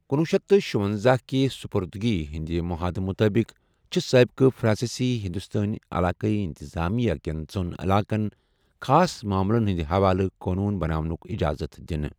کنوہ شیتھ تہٕ شُۄنزَہ کہِ سٗپٗردگی ہندِ محادٕ مُطٲبِق، چِھ سٲبِقہٕ فِرانٛسی ہِنٛدوستٲنۍ عَلاقٲیٖی اِنتِظٲمِیہ کٮ۪ن ژۄن عٔلاقَن خاص مامٕلن ہندِ حوالہٕ قونوٗن بَناونُک اِجازَت دِنہٕ۔